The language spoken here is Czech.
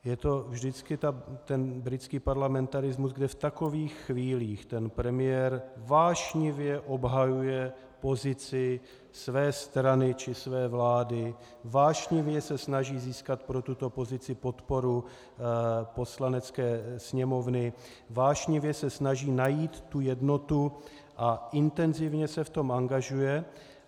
Je to vždycky ten britský parlamentarismus, kdy v takových chvílích ten premiér vášnivě obhajuje pozici své strany či své vlády, vášnivě se snaží získat pro tuto pozici podporu Poslanecké sněmovny, vášnivě se snaží najít tu jednotu a intenzivně se v tom angažuje.